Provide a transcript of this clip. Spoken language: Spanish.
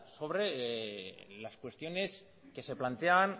sobre las cuestiones que se plantean